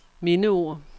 mindeord